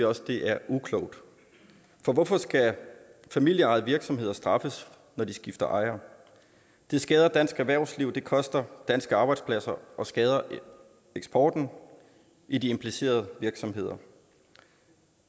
også det er uklogt for hvorfor skal familieejede virksomheder straffes når de skifter ejer det skader dansk erhvervsliv det koster danske arbejdspladser og skader eksporten i de implicerede virksomheder